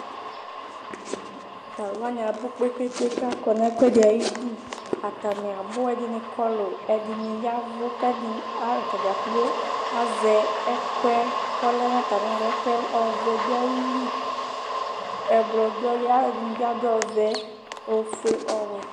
Tʋ alʋwanɩ abʋ kpekpekpe kʋ akɔ nʋ ɛkʋɛdɩ ayɩdʋ Atanɩ abʋ kʋ ɛdɩnɩ kɔlʋ ɛdɩnɩ yavʋ Kʋ atadza kplo azɛ ɛkʋɛdɩnɩ bʋakʋ ɔvɛ dʋ ayili, ɛblɔ dʋayili Alʋɛdɩnɩ bɩ adʋ ɔvɛ, ofue nʋ ɔwɛ